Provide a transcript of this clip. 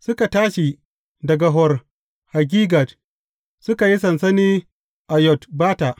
Suka tashi daga Hor Haggidgad, suka yi sansani a Yotbata.